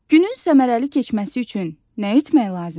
Günün səmərəli keçməsi üçün nə etmək lazımdır?